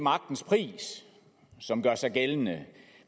magtens pris som gør sig gældende